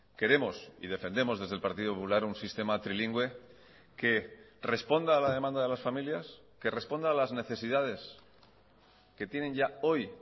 queremos y defendemos desde el partido popular un sistema trilingüe que responda a la demanda de las familias que responda a las necesidades que tienen ya hoy